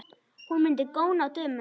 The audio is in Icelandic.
Hún mundi góna á dömuna.